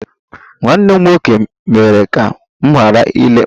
Nwanne m nwoke mere ka m ghara ile mgba